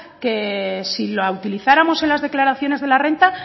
que si la utilizáramos en las declaraciones de la renta